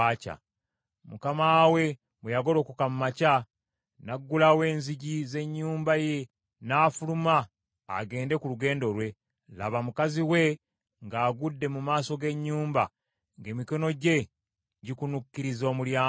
Mukama we bwe yagolokoka mu makya, n’aggulawo enzigi z’ennyumba ye n’afuluma agende ku lugendo lwe, laba, mukazi we ng’agudde mu maaso g’ennyumba, ng’emikono gye gikunukkiriza omulyango.